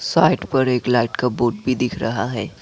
Site पर एक light का बोर्ड भी दिख रहा है।